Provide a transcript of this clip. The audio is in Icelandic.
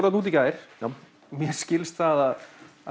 þarna úti í gær og mér skilst að